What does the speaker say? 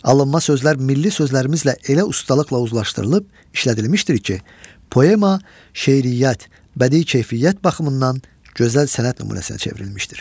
Alınma sözlər milli sözlərimizlə elə ustalıqla uzlaşdırılıb işlədilmişdir ki, poema, şeiriyyat, bədii keyfiyyət baxımından gözəl sənət nümunəsinə çevrilmişdir.